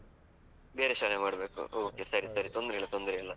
ಬೇರೆ ಶಾಲೆ ಮಾಡ್ಬೇಕು, okay ಸರಿ ಸರಿತೊಂದ್ರೆ ಇಲ್ಲ ತೊಂದ್ರೆ ಇಲ್ಲ.